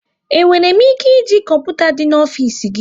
E nwere m ike e ji kọmputa dị n'ofisi gị?